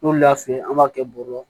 N'olu y'a f'i ye an b'a kɛ bɔrɔ kɔnɔ